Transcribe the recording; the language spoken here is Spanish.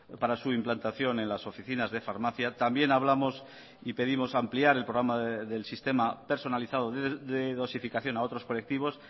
para su implantación en las oficinas de farmacia también hablamos y pedimos ampliar el programa del sistema personalizado de dosificación a otros colectivos